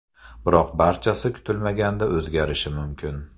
Biroq barchasi kutilmaganda o‘zgarishi mumkin.